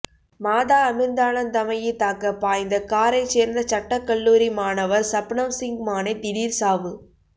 மாதா அமிர்தானந்தமயி தாக்க பாய்ந்த காரை சேர்ந்த சட்டக் கல்லூரி மாணவர் சப்னம்சிங் மானே திடீர் சாவு